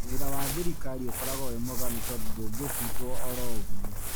Wĩra wa thirikari ũkoragwo wĩmwega nĩtondũ ndũngĩfutwo orogwo.